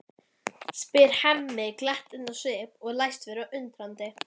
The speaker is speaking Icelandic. spyr Hemmi glettinn á svip og læst vera undrandi.